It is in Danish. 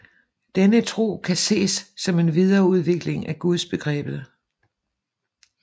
Denne tro kan ses som en videreudvikling af Gudsbegrebet